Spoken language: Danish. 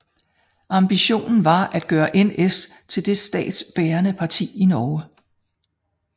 Ambitionen var at gøre NS til det statsbærende parti i Norge